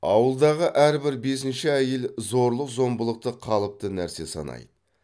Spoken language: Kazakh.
ауылдағы әрбір бесінші әйел зорлық зомбылықты қалыпты нәрсе санайды